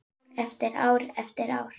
Ár eftir ár eftir ár.